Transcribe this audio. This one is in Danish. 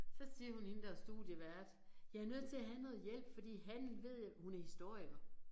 Så siger hun hende der er studievært jeg er nødt til at have noget hjælp fordi handel ved jeg hun er historiker